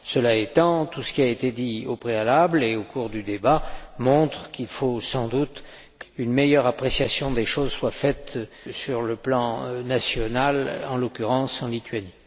Cela étant, tout ce qui a été dit au préalable et au cours du débat montre qu'il faut sans doute qu'une meilleure appréciation des choses soit faite sur le plan national, en l'occurrence en Lituanie.